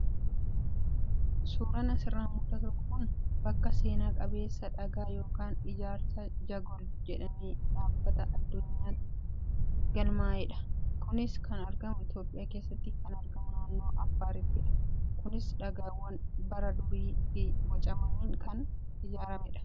Suuraan asirraa mul'atu kun bakka seena qabeessa dhagaa yookaan ijaarsa Jagol jedhamee dhaabbata addunyaatti galmaayedha. Kunis kan argamu Itoophiyaa keessaa kan argamu naannoo Affaarittidha. Kunis dhagaawwan bara durii bocamaniin kan ijaaramedha.